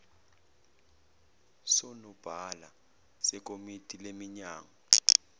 sonobhala sekomiti leminyango